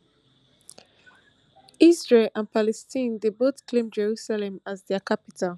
israel and palestine dey both claim jerusalem as dia capital